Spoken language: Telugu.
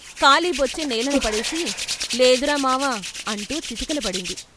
ఖాళీ బొచ్చె నేలన పడేసి "లేదురా మావా" అంటూ చతికిలబడింది.